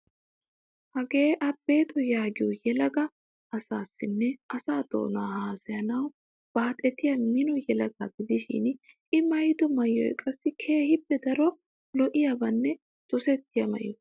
Hagee Abexo yaagiyo yelaga asaassinne asaa doonaa haasayanawu baaxetiya mino yelagaa gidishin I maayido maayoy qassi keehippe daro lo"iyabanne dosettiya maayo.